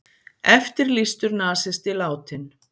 Eftirlýstur nasisti látinn